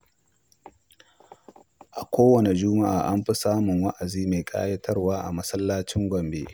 A kowane Juma’a, an fi samun wa’azi mai ƙayatarwa a masallacin Gombe.